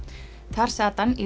þar sat hann í